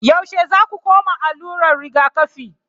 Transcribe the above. Yaushe zaku koma allurar rigakafi